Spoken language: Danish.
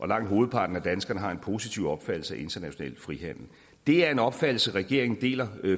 langt hovedparten af danskerne har en positiv opfattelse af international frihandel det er en opfattelse regeringen deler